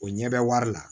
O ɲɛ bɛ wari la